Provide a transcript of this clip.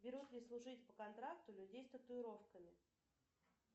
берут ли служить по контракту людей с татуировками